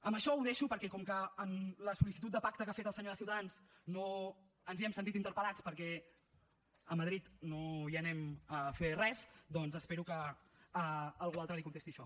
amb això ho deixo perquè com que en la sol·licitud de pacte que ha fet el senyor de ciutadans no ens hi hem sentit interpel·lats perquè a madrid no hi anem a fer res doncs espero que algú altre li contesti això